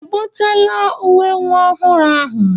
E butela uwe nwa ọhụrụ ahụ?